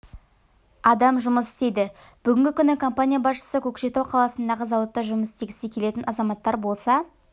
адам жұмыс істейді бүгінгі күні компания басшысы көкшетау қаласындағы зауытта жұмыс істегісі келетін азаматтар болса